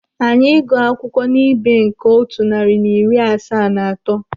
Anyị ịgụ akwụkwọ n'ibé nke otu narị na iri asaa na atọ.